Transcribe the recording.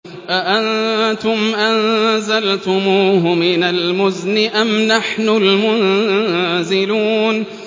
أَأَنتُمْ أَنزَلْتُمُوهُ مِنَ الْمُزْنِ أَمْ نَحْنُ الْمُنزِلُونَ